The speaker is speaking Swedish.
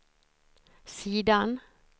sidan